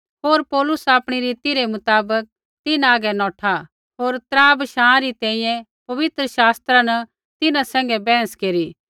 होर पौलुस आपणी रीति रै मुताबक तिन्हां हागै नौठा होर त्रा बशाँ तैंईंयैं पवित्र शास्त्रा न तिन्हां सैंघै बैहस केरी